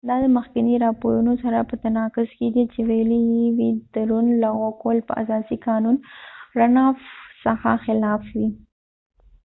دا د مخکېنی راپورونو سره په تناقض کې دي چې ويلی یې وي د رن افrunoff لغو کول به د اساسی قانون څخه خلاف وي